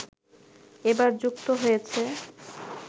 এবার যুক্ত হয়েছে